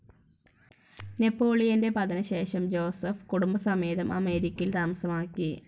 നെപോളിയന്റെ പതനശേഷം ജോസെഫ് കുടുംബസമേതം അമേരിക്കയിൽ താമസമാക്കി.